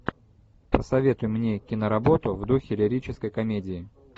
посоветуй мне киноработу в духе лирической комедии